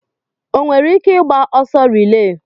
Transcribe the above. O nwere ike ịgba ọsọ rilee?